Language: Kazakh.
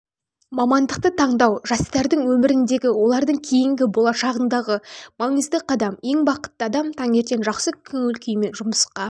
мамандықты таңдау жастардың өміріндегі олардың кейінгі болашағындағы маңызды қадам ең бақытты адам таңертен жақсы көңіл-күймен жұмысқа